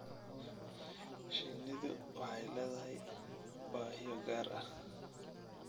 Shinnidu waxay leedahay baahiyo gaar ah.